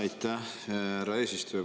Aitäh, härra eesistuja!